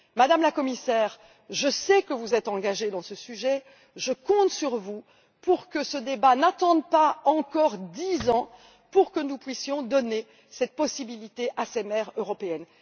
Madame la Commissaire, je sais que, sur ce thème, vous êtes engagée. Je compte sur vous pour que ce débat n'attende pas encore dix ans, pour que nous puissions donner cette possibilité à ces mères européennes.